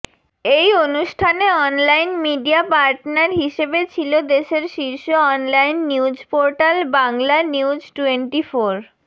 এই অনুষ্ঠানে online media partner হিসেবে ছিল দেশের শীর্ষ অনলাইন নিউজপোর্টাল বাংলানিউজটোয়েন্টিফোর